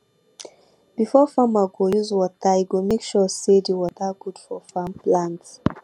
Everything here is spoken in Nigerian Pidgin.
before farmer go use water e go make sure say de water good for farm plant